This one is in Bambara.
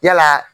Yala